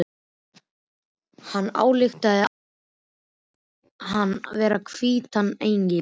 Hann ályktaði að hún héldi hann vera hvítan engil.